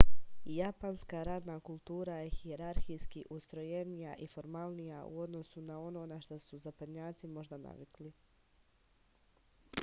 japanska radna kultura je hijerarhijski ustrojenija i formalnija u odnosu na ono na šta su zapadnjaci možda navikli